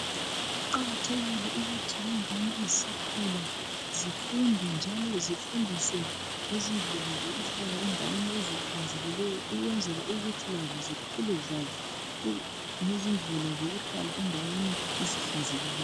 Kuqakathekile ukuthi ingane zisakhula azifunde njalo zifundiswe ngezindlela zokuhlala endaweni ehlanzekileyo ukwenzela ukuthi lazo zikhule zisazi ngezindlela zokuhlala endaweni ezihlanzekileyo.